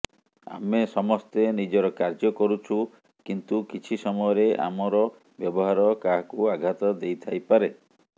ଆମେ ସମସ୍ତେ ନିଜର କାର୍ଯ୍ୟ କରୁଛୁ କିନ୍ତୁ କିଛି ସମୟରେ ଆମର ବ୍ୟବହାର କାହାକୁ ଆଘାତ ଦେଇଥାଇପାରେ